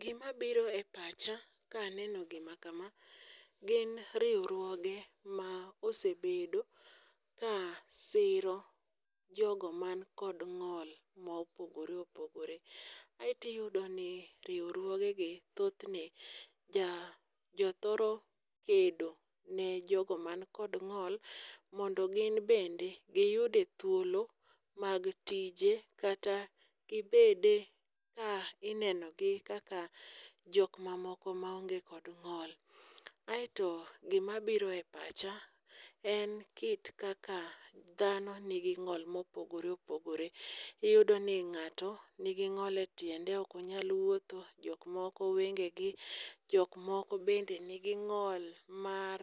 Gimabiro e pacha kaneno gima kama, gin riwruoge ma osebedo ka siro jogo man kod ng'ol mopogore opogore. Aeto iyudoni riwruogegi thothne jothoro kendo ne jogo man kod ng'ol mondo gin bende giyude thuolo mag tije kata gibede ka inenogi kaka jok mamoko maonge kod ng'ol. Aeto gimabiro e pacha en kit kaka dhano nigi ng'ol mopogore opogore. Iyudoni ng'ato nigi ng'ol e tiende ok onyal wuotho, jok moko wengegi, jok moko bende nigi ng'ol mar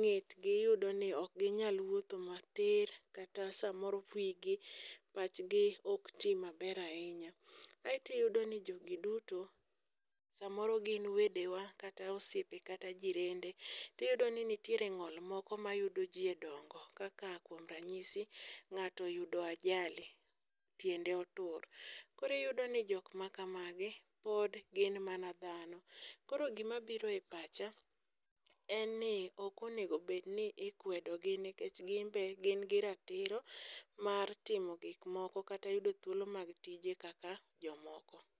ng'etgi iyudo ni ok ginyal wuotho matir, kata samoro wigi, pachgi ok ti maber ahinya. Aeto iyudo ni jogi duto samoro gin wedewa kata osiepe kata jirende, tiyudo ni nitiere ng'ol moko mayudo ji e dongo kaka kuom ranyidi ng'ato oyudo ajali tiende otur, koro iyudono jok makamagi, pod gin mana dhano, koro gimabiro e pacha en ni ok onego obed ni ikwedogi nikech gin be gin gi ratiro mar timo gikmoko kata yudo thuolo mag tije kaka jomoko.